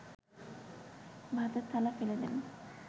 ভাতের থালা ফেলে দেন